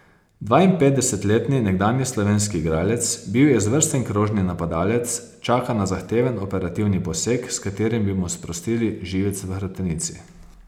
Dvainpetdesetletni nekdanji slovenski igralec, bil je izvrsten krožni napadalec, čaka na zahteven operativni poseg, s katerim bi mu sprostili živec v hrbtenici.